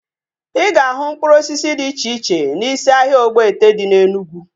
Ị ga-ahụ mkpụrụ osisi dị iche iche n'isi ahịa Ogbete dị na Enugwu